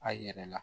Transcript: A yɛrɛ la